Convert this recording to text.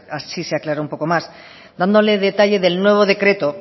así se aclara un poco más dándole detalle del nuevo decreto